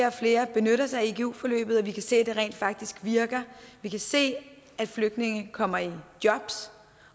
og flere benytter sig af igu forløbet og vi kan se at det rent faktisk virker vi kan se at flygtninge kommer i jobs